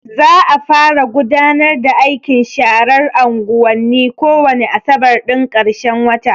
Za a fara gudanar da aikin sharar anguwanni ko wane asabar ɗin ƙarshen wata.